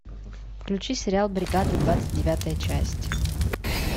включи сериал бригада двадцать девятая часть